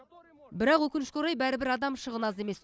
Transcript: бірақ өкінішке орай бәрібір адам шығыны аз емес